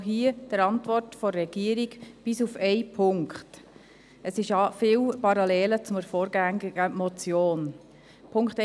Hier gibt es viele Parallelen zur vorangegangenen Motion ().